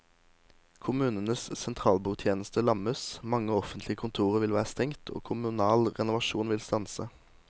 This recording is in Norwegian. Kommunenes sentralbordtjeneste lammes, mange offentlige kontorer vil være stengt og kommunal renovasjon vil stanse.